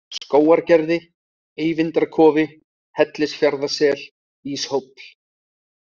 Skógargerði, Eyvindarkofi, Hellisfjarðarsel, Íshóll